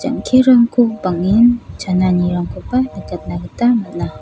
rong·terangko bang·en chananirangkoba nikatna gita man·a.